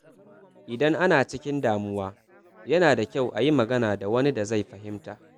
Idan ana cikin damuwa, yana da kyau a yi magana da wani da zai fahimta.